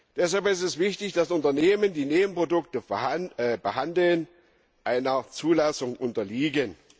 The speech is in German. Deshalb ist es wichtig, dass Unternehmen, die Nebenprodukte behandeln, einer Zulassung unterliegen.